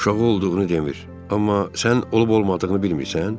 Uşağı olduğunu demir, amma sən olub-olmadığını bilmirsən?